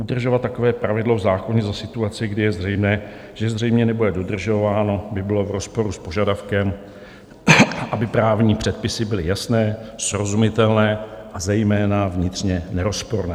Udržovat takové pravidlo v zákoně za situace, kdy je zřejmé, že zřejmě nebude dodržováno, by bylo v rozporu s požadavkem, aby právní předpisy byly jasné, srozumitelné a zejména vnitřně nerozporné.